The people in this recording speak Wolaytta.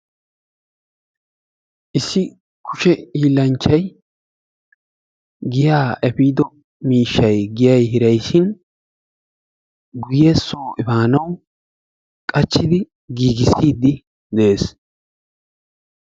Issi kushe hiillanchchay giya eppido miishshaay giyay hiraayssin guyye so efaanawu qachiidi de"ees.